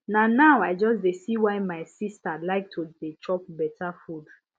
na now i just dey see why my sister like to dey chop better food